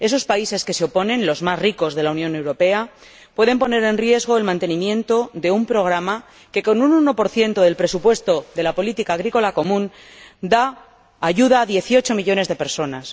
Esos países que se oponen, los más ricos de la Unión Europea, pueden poner en riesgo el mantenimiento de un programa que, con un 1 del presupuesto de la política agrícola común, ayuda a dieciocho millones de personas.